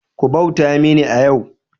Ku bauta mini a yau!